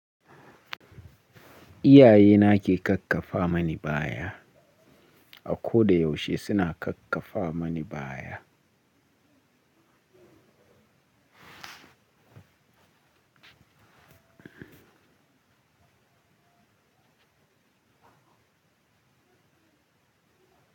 Iyaye na ke kakkafa mani baya. A ko da yaushe suna kakkafa mani baya.